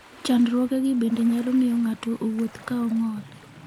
Chandruogegi bende nyalo miyo ng'ato owuoth ka ong'ol.